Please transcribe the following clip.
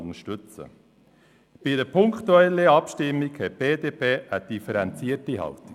Bei einer punktweisen Abstimmung hat die BDP eine differenzierte Haltung.